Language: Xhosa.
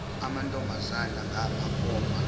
amantombazana ngapha koma